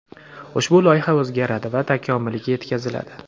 ushbu loyiha o‘zgaradi va takomiliga yetkaziladi.